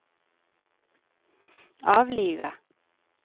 avlive